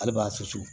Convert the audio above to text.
Hali b'a susu